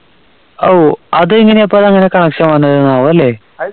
ഓ അതെങ്ങനെയപ്പോ നമ്മളെ connection